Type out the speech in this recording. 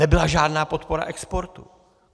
Nebyla žádná podpora exportu.